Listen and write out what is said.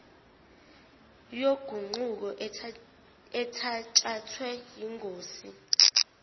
yoguquko ethatshathwe yingosi